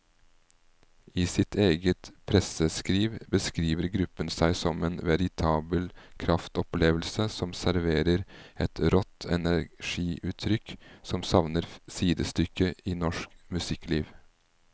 I sitt eget presseskriv beskriver gruppen seg som en veritabel kraftopplevelse som serverer et rått energiutrykk som savner sidestykke i norsk musikkliv.